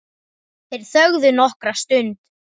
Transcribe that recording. Þeir þögðu nokkra stund.